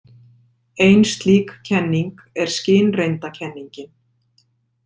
Ein slík kenning er skynreyndakenningin.